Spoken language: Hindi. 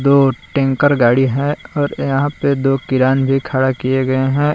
दो टैंकर गाड़ी है और यहां पे दो केरान भी खड़ा किए गए हैं।